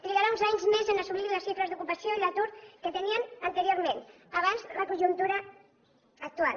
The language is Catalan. trigarà uns anys més a assolir les xifres d’ocupació i l’atur que teníem anteriorment abans de la conjuntura actual